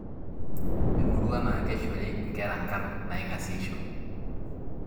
Emurua naa keishori nkera nkarn naingaseisho.